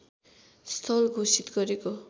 स्थल घोषित गरेको